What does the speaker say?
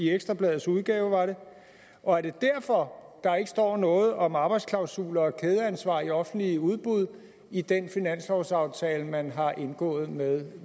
ekstra bladets udgave og er det derfor der ikke står noget om arbejdsklausuler og kædeansvar i offentlige udbud i den finanslovsaftale man har indgået med